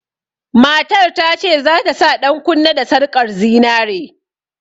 Matar ta ce za ta sa ɗankunne da sarƙar zinare.